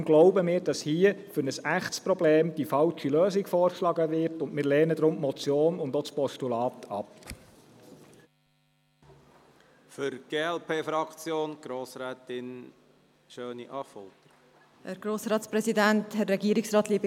Deshalb glauben wir, dass hier für ein echtes Problem die falsche Lösung vorgeschlagen wird und lehnen deshalb die Motion und auch das Postulat ab.